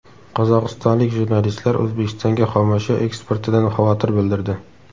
Qozog‘istonlik jurnalistlar O‘zbekistonga xomashyo eksportidan xavotir bildirdi.